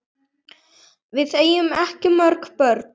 Við eigum ekki mörg börn.